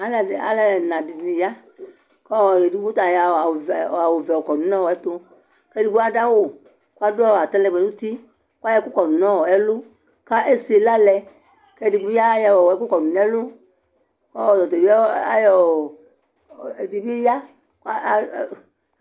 Alʋɛdɩ, alʋ ɛna dɩnɩ ya kʋ ɔ edigbo ta ayɔ awʋvɛ awʋvɛ kɔdʋ nʋ ɛtʋ kʋ edigbo adʋ awʋ kʋ adʋ atalɛgbɛ nʋ uti kʋ ayɔ ɛkʋ kɔdʋ nʋ ɛlʋ kʋ ese ɩla lɛ kʋ ɛdɩ bɩ a ayɔ ɛkʋ kɔdʋ nʋ ɛlʋ kʋ ɔta bɩ ayɔ ɔ ɛdɩ bɩ ya kʋ a um